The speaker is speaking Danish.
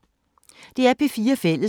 DR P4 Fælles